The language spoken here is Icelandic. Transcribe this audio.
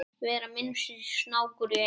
vera minnsti snákur í heimi